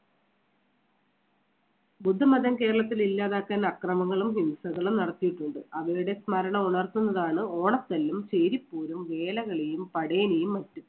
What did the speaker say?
ബുദ്ധമതം കേരളത്തിൽ ഇല്ലാതാക്കാൻ അക്രമങ്ങളും ഹിംസകളും നടത്തിയിട്ടുണ്ട്. അവയുടെ സ്മരണ ഉണർത്തുന്നതാണ് ഓണത്തല്ലും, ചേരിപോരും, വേലകളിയും, പടയണിയും ഒക്കെ